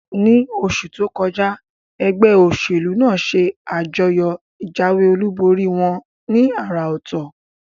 Ní osù tókọjá, egbé òsèlú nàá se àjọyò ìjáwé olúborí wón ní àrà òtò